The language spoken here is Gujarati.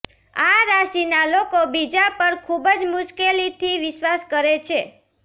આ રાશિના લોકો બીજા પર ખુબ મુશ્કેલીથી વિશ્વાસ કરે છે